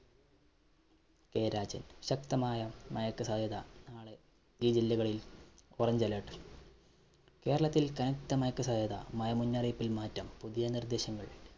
K Rajan‍, ശക്തമായ മഴയ്ക്ക് സാധ്യത. നാളെ ഈ ജില്ലകളില്‍ orange alert. കേരളത്തില്‍ കനത്ത മഴയ്ക്ക് സാധ്യത, മഴ മുന്നറിയിപ്പില്‍ മാറ്റം. പുതിയ നിര്‍ദ്ദേശങ്ങള്‍